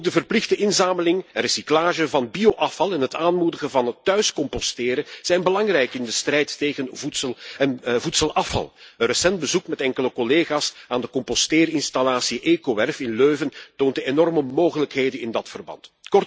Ook de verplichte inzameling en recyclage van bio afval en het aanmoedigen van thuis composteren zijn belangrijk in de strijd tegen voedselafval. Een recent bezoek met enkele collega's aan de composteerinstallatie Ecowerf in Leuven toont de enorme mogelijkheden in dat verband.